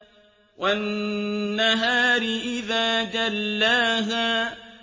وَالنَّهَارِ إِذَا جَلَّاهَا